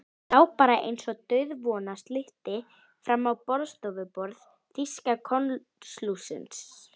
Lá bara einsog dauðvona slytti fram á borðstofuborð þýska konsúlsins.